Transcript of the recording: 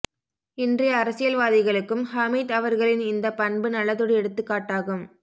இன்றைய அரசியல்வாதிகளுக்கும் ஹமீத் அவர்களின் இந்தப் பண்பு நல்லதொரு எடுத்துக் காட்டாகும்